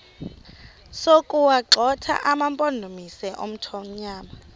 sokuwagxotha amampondomise omthonvama